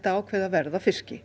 að ákveða verð á fiski